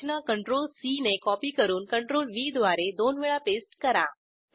रचना CTRL C ने copy करून CTRLV द्वारे दोन वेळा पेस्ट करा